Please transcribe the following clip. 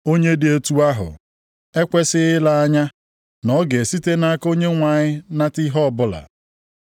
Onye dị otu ahụ ekwesighị ile anya na ọ ga-esite nʼaka Onyenwe anyị nata ihe ọbụla.